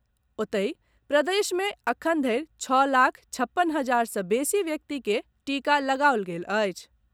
ओतहि, प्रदेश मे एखनधरि छओ लाख छप्पन हजार सॅ बेसी व्यक्ति के टीका लगाओल गेल अछि।